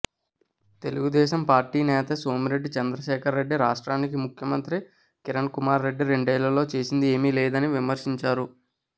Telugu Desam party నేత సోమిరెడ్డి చంద్రశేఖర్రెడ్డి రాష్ట్రానికి ముఖ్యమంత్రి కిరణ్ కుమార్రెడ్డి రెండేళ్లలో చేసింది ఏమీ లేదని విమర్శించారు